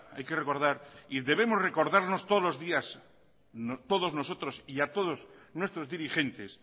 hay que recordar y debemos recordarnos todos los días todos nosotros y a todos nuestros dirigentes